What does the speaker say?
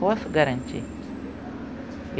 Posso garantir.